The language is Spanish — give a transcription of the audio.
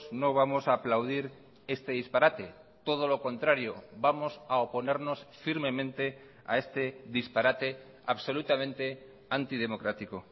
no vamos a aplaudir este disparate todo lo contrario vamos a oponernos firmemente a este disparate absolutamente antidemocrático